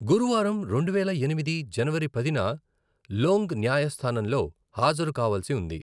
గురువారం రెండువేల ఎనిమిది జనవరి పదిన, లొంగ్ న్యాయస్థానంలో హాజరు కావాల్సి ఉంది.